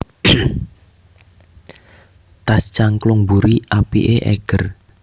Tas cangklong mburi apike Eiger